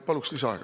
Palun lisaaega.